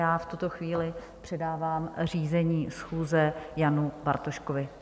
Já v tuto chvíli předávám řízení schůze Janu Bartoškovi.